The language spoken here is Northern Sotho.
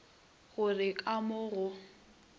go re ka mo go